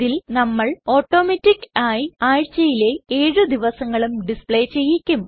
ഇതിൽ നമ്മൾ ഓട്ടോമാറ്റിക് ആയി ആഴ്ചയിലെ ഏഴു ദിവസങ്ങളും ഡിസ്പ്ലേ ചെയ്യിക്കും